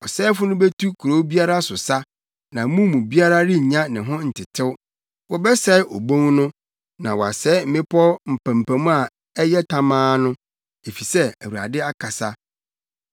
Ɔsɛefo no betu kurow biara so sa, na mu biara rennya ne ho ntetew. Wɔbɛsɛe obon no na wasɛe mmepɔw mpampam a ɛyɛ tamaa no, efisɛ Awurade akasa.